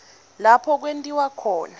lapho kwentiwe khona